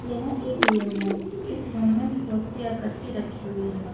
यह एक रूम है इस रुम में बहुत सी आकृति रखी हुई है।